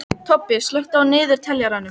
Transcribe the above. Tobbi, slökktu á niðurteljaranum.